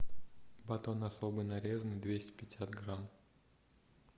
батон особый нарезанный двести пятьдесят грамм